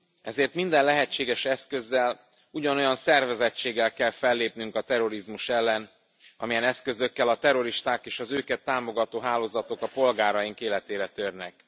Ezért minden lehetséges eszközzel, ugyanolyan szervezettséggel kell fellépnünk a terrorizmus ellen, amilyen eszközökkel a terroristák és az őket támogató hálózatok a polgáraink életére törnek.